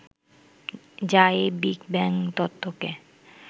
যা এই big bang তত্ত্বকে